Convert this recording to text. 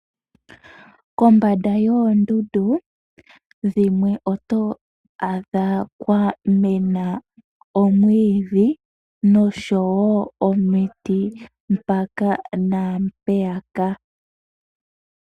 Kombanda yoondundu dhimwe oto adha kwa mena oomwiidhi noshowo omiti mpaka na mpeyaka.